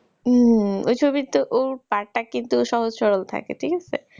হম ওই ছবি তে ওর part টা কিন্তু সহজ সরল থাকে ঠিক আছে